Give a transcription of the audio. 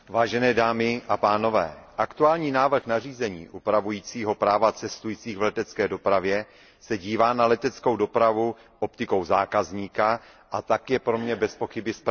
Pane předsedající, aktuální návrh nařízení upravující práva cestujících v letecké dopravě se dívá na leteckou dopravu optikou zákazníka, a tak je pro mě bezpochyby správným krokem.